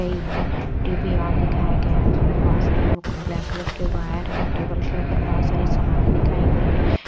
गई है TV on दिखाया गया है उसमें बहुत सारे ब्लैक कलर के वायर हैं टेबल के ऊपर बहुत सारी सामान दिखाई गई है।